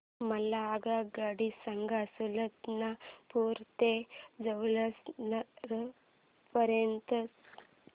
मला आगगाडी सांगा सुलतानपूर ते जौनपुर पर्यंत च्या